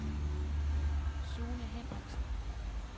Sune Hendriksen